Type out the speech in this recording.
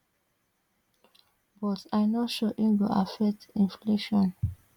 but i no sure e go affect inflation